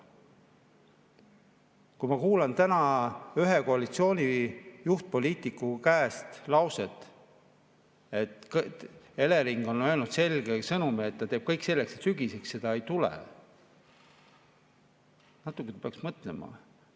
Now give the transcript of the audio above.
Kui ma kuulen täna ühe koalitsiooni juhtpoliitiku suust lauset, et Elering on öelnud selge sõnumi, et ta teeb kõik selleks, et sügiseks seda ei tule, siis natuke peaksime mõtlema.